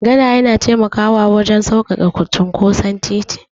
Gada yana taimakawa wurin sauƙaƙe cinkoson titi.